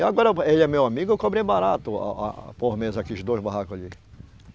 E agora, ele é meu amigo, eu cobrei barato, a, a, a por mês aqueles dois barraco ali.